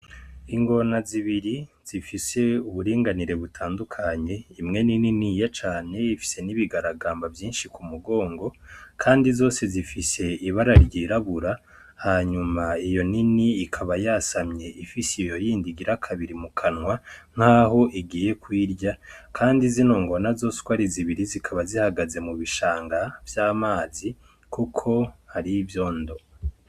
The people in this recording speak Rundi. Ingona zibiri zifise uburinganire butandukanye imwe ni niniya cane ifise nibigaragamba vyinshi kumurongo kandi zose zifise ibara ry'irabura hanyuma iyo nini ikaba yasamye ifise iyondi igira kabiri mukanwa naho igiye kuyirya kandi zino ngona uko ari zibiri zikaba zihagaze mubishanga vy'amazi kuko hari ivyondo.